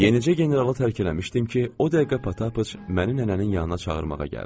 Yenicə generalı tərk eləmişdim ki, o dəqiqə Patapıç məni nənənin yanına çağırmağa gəldi.